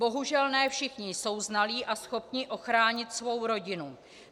Bohužel ne všichni jsou znalí a schopni ochránit svou rodinu.